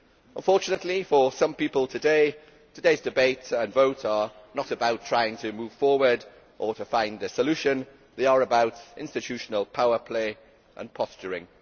Unfortunately, for some people, today's debate and vote are not about trying to move forward or to find a solution they are about institutional power play and posturing.